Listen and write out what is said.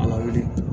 Ala weele